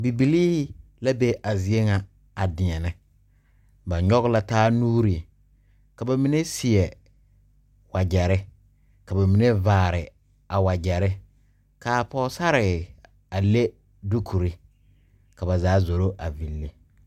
Bibilii la be a zie ŋa a deɛnɛ ba nyoge la taa nuure ka ba mine seɛ wagyɛrre ka ba mine vaare a wagyɛrre kaa pɔɔsarre a le dukurre ka ba zaa zoro a ville.